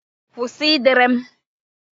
Kwụsị ịdere m!